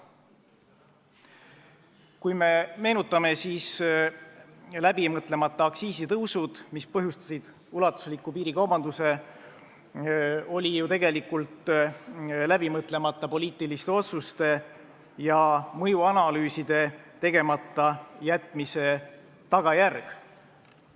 Kui me meenutame, siis järsud aktsiisitõusud, mis põhjustasid ulatusliku piirikaubanduse, olid ju tegelikult läbimõtlemata poliitiliste otsuste ja mõjuanalüüside tegemata jätmise tagajärg.